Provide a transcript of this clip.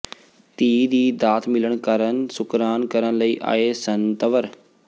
ਧੀ ਦੀ ਦਾਤ ਮਿਲਣ ਕਾਰਨ ਸੁਕਰਾਨ ਕਰਨ ਲਈ ਆਏ ਸਨ ਤੰਵਰ